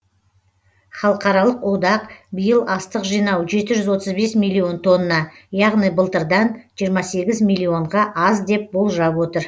халықаралық одақ биыл астық жинау жеті жүз отыз бес миллион тонна яғни былтырдан жиырма сегіз миллионға аз деп болжап отыр